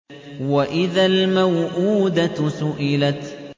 وَإِذَا الْمَوْءُودَةُ سُئِلَتْ